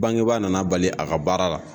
Bangebaa nana bali a ka baara la.